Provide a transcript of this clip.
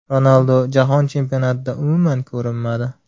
Ronaldu Jahon chempionatida umuman ‘ko‘rinmadi’.